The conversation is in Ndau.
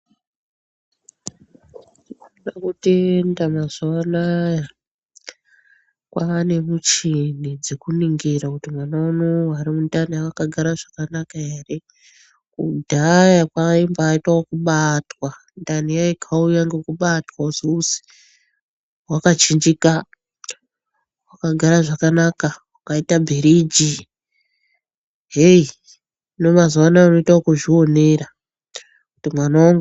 Tinoda kutenda mazuwa anaya kwaane muchini dzekuningira kuti mwana uno urimundani wakagara zvakanaka ere kudhaya kwaimba aitwa zvekubatwa, ndani yaikauya ngekubatwa kuzi wakachinjika, wakagara zvakanaka wakaite bhiriji heyi hino mazuwa ano unoita yekuzvionera kuti mwana wangu wakaite chekudini mundanimwo.